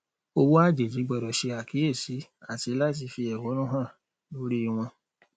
owó àjèjì gbọdọ ṣe àkíyèsí àti láti fi ẹhọnú hàn lórí wọn